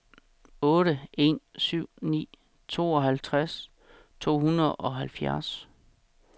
otte en syv ni tooghalvtreds to hundrede og halvfjerds